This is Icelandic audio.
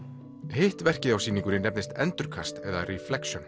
hitt verkið á sýningunni nefnist endurkast eða